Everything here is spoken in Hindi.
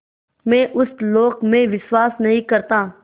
मैं उस लोक में विश्वास नहीं करता